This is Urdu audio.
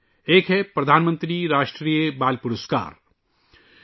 اُن میں سے ایک ہے ' وزیر اعظم کا ' راشٹریہ بال پرسکار '